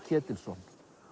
Ketilsson